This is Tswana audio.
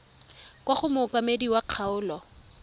kwa go mookamedi wa kgaolo